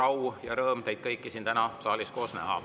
On suur au ja rõõm teid kõiki täna siin saalis koos näha.